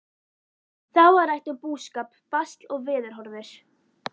Þá var rætt um búskap, basl og veðurhorfur.